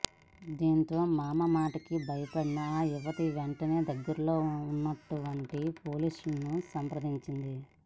దీంతో మామ మాటలకి భయపడిన ఆ యువతి వెంటనే దగ్గరలో ఉన్నటువంటి పోలీసులను సంప్రదించింది